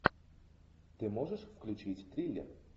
ты можешь включить триллер